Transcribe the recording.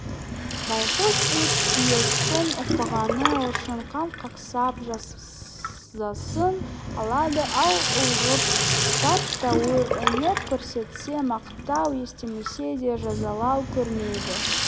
байқұс ит иесін ұқпағаны үшін қан қақсап жазасын алады ал ұғып тәп-тәуір өнер көрсетсе-мақтау естімесе де жазалау көрмейді